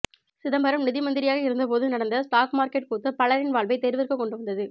சிதம்பரம் நிதி மந்திரியாக இருந்த போது நடந்த ஸ்டாக் மார்க்கெட் கூத்து பலரின் வாழ்வை தெருவிற்கு கொண்டு வந்தது